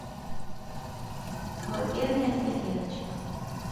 колыбельная для девочек